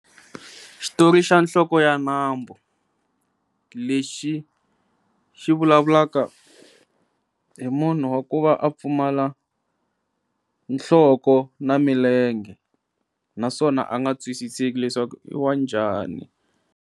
Xitori xa nhloko ya nambu lexi xi vulavulaka hi munhu wa ku va a pfumala nhloko na milenge naswona a nga twisiseki leswaku i wa njhani.